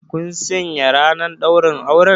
Kun sanya ranar ɗaurin auren?